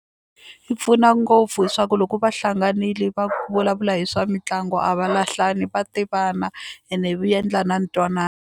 Yi pfuna ngopfu swa ku loko va hlanganile va vulavula hi swa mitlangu a va lahlani va tivana ene endla na ntwanano.